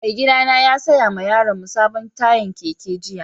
Mai gida na ya saya ma yaron mu sabon tayan keke jiya.